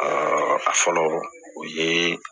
a fɔlɔ o ye